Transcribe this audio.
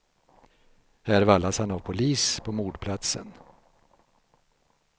Här vallas han av polis på mordplatsen.